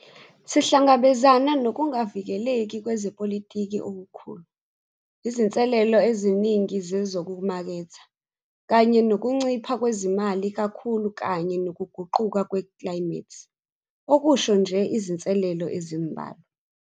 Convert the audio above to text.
SIHLANGABEZANA NOKUNGAVIKELEKI KWEZEPOLITIKI OKUKHULU, IZINSELELO EZININGI ZEZOKUMAKETHA, KANYE NOKUNCIPHA KWEZIMALI KAKHULU KANYE NOKUGUQUKA KWEKLAYIMETHI, UKUSHO NJE IZINSELELO EZIMBALWA.